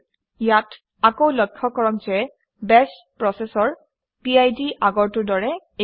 ইয়াত আকৌ লক্ষ্য কৰক যে বাশ প্ৰচেচৰ পিড আগৰটোৰ দৰে একে